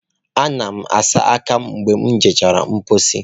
Ana m asa aka m mgbe m gachara mposi.